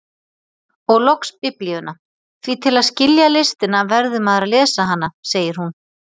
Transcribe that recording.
Og loks Biblíuna, því til að skilja listina verður maður að lesa hana segir hún.